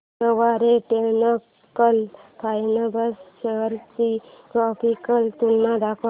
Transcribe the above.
Garware technical fibres shares ची graphical तुलना दाखव